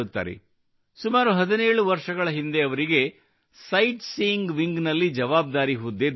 ಸುಮಾರು 17 ವರ್ಷಗಳ ಹಿಂದೆ ಅವರಿಗೆ ಸೈಟ್ ಸೀಯೀಂಗ್ ವಿಂಗ್ ನಲ್ಲಿ ಜವಾಬ್ದಾರಿ ಹುದ್ದೆ ದೊರೆಯಿತು